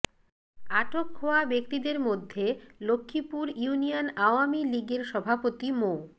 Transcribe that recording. আটক হওয়া ব্যক্তিদের মধ্যে লক্ষ্মীপুর ইউনিয়ন আওয়ামী লীগের সভাপতি মো